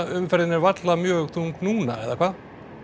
umferðin er varla mjög þung núna eða hvað